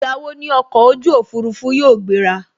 Ìgbà wo ni ọkọ̀ Òfurufú yóò gbera